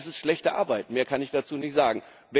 Es ist schlechte Arbeit, mehr kann ich dazu nicht sagen.